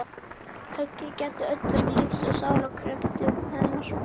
Höggið gætt öllum lífs og sálar kröftum hennar.